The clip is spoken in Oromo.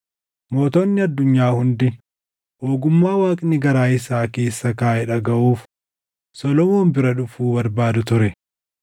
Mootonni addunyaa hundi ogummaa Waaqni garaa isaa keessa kaaʼe dhagaʼuuf Solomoon bira dhufuu barbaadu ture.